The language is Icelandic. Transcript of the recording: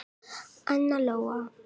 Anna Lóa.